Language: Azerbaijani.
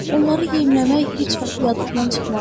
Onları yemləmək heç vaxt yadından çıxmaz.